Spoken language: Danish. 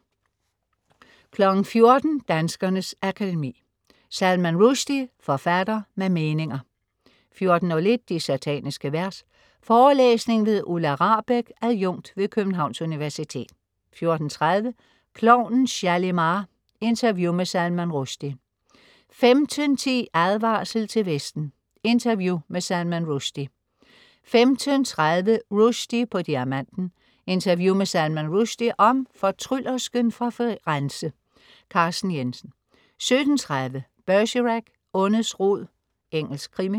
14.00 Danskernes Akademi. Salman Rushdie, forfatter med meninger 14.01 De sataniske vers. Forelæsning ved Ulla Rahbek, adjunkt ved Københavns Universitet 14.30 Klovnen Shalimar. Interview med Salman Rushdie 15.10 Advarsel til Vesten. Interview med Salman Rushide 15.30 Rushdie på Diamanten. Interview med Salman Rushide om "Fortryllersken fra Firenze". Carsten Jensen 17.30 Bergerac: Ondets rod. Engelsk krimi